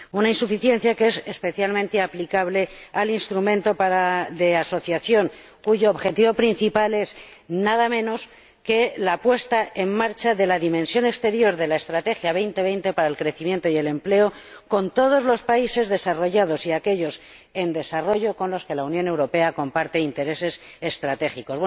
Una insuficiencia que es especialmente aplicable al Instrumento de Asociación, cuyo objetivo principal es nada menos que la puesta en marcha de la dimensión exterior de la Estrategia 2020 para el crecimiento y el empleo con todos los países desarrollados y con los países en desarrollo con los que la Unión Europea comparte intereses estratégicos.